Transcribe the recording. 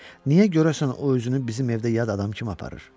Niyə görəsən o özünü bizim evdə yad adam kimi aparır?